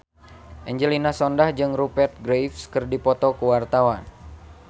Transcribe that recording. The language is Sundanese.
Angelina Sondakh jeung Rupert Graves keur dipoto ku wartawan